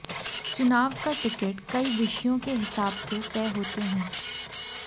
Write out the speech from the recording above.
चुनाव का टिकट कई विषयों के हिसाब से तय होते हैं